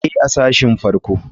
Ee, a sashin farko.